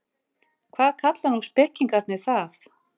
Hvað kalla nú spekingarnir það?